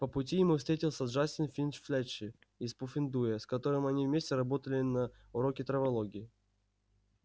по пути ему встретился джастин финч-флетчли из пуффендуя с которым они вместе работали на уроке травологии